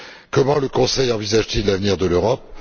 Comment le Conseil envisage t il l'avenir de l'Europe?